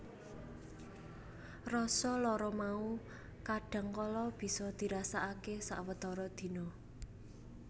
Rasa lara mau kadhang kala bisa dirasakake sawetara dina